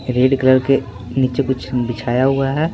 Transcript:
Red colour के नीचे कुछ बिछाया हुआ है।